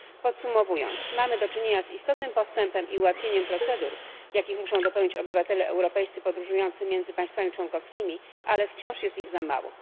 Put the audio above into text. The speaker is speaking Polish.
Podsumowując, mamy do czynienia z istotnym postępem i ułatwieniem procedur, jakich muszą dopełnić obywatele europejscy podróżujący między państwami członkowskimi, ale wciąż jest ich za mało.